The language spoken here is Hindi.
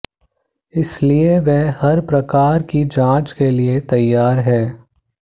इसलिए वह हर प्रकार की जांच के लिए तैयार हैं